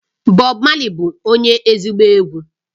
Bob Marley bu onye ezigbo egwu